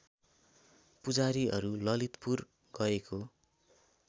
पुजारीहरू ललितपुर गएको